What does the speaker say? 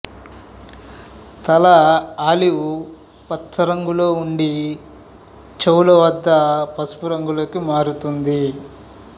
తల ఆలివ్ పచ్చ రంగులో ఉండి చెవుల వద్ద పసుపు రంగుకి మారుతుంది